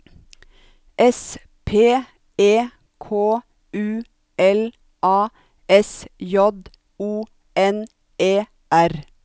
S P E K U L A S J O N E R